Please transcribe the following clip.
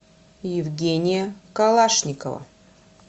евгения калашникова